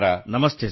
ನಮಸ್ಕಾರ |